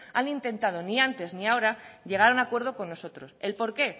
han intentado ni antes ni ahora llegar a un acuerdo con nosotros el por qué